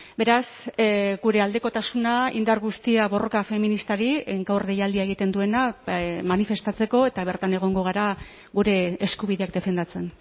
beraz gure aldekotasuna indar guztia borroka feministari gaur deialdia egiten duena manifestatzeko eta bertan egongo gara gure eskubideak defendatzen